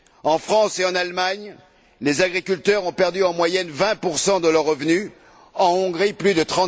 En France et en Allemagne, les agriculteurs ont perdu en moyenne 20 de leur revenu, en Hongrie plus de